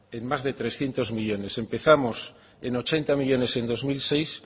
en más trescientos millónes empezamos en ochenta millónes en dos mil seis